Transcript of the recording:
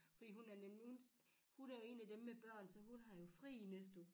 Fordi hun er nemlig hun er en af dem med børn så hun har jo fri i næste uge